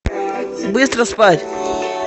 быстро спать